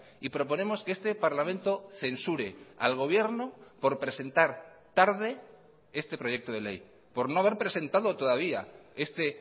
y proponemos que este parlamento censure al gobierno por presentar tarde este proyecto de ley por no haber presentado todavía este